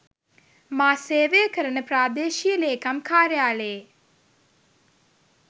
මා සේවය කරන ප්‍රාදේශීය ලේකම් කාර්යාලයේ